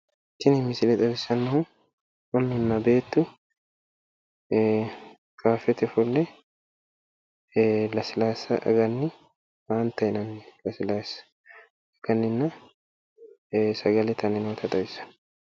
Kuni misile xawissannohu beettu kaaffete ofolle lasilaassa aganni faanta yinanni lasilaassa aganninna sagale itanni noota xawissanno.